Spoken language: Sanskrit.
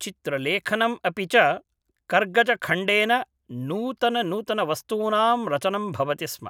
चित्रलेखनम् अपि च कर्गजखण्डेन नूतननूतनवस्तूनां रचनं भवति स्म